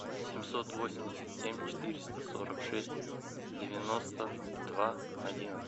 семьсот восемьдесят семь четыреста сорок шесть девяносто два одиннадцать